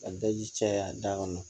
Ka daji caya da kɔnɔ